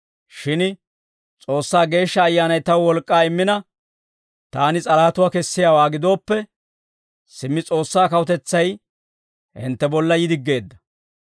Shin S'oossaa Geeshsha Ayyaanay taw wolk'k'aa immina, taani s'alahatuwaa kessiyaawaa gidooppe, simmi S'oossaa kawutetsay hintte bolla yi diggeedda.